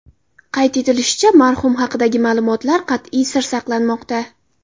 Qayd etilishicha, marhum haqidagi ma’lumotlar qat’iy sir saqlanmoqda .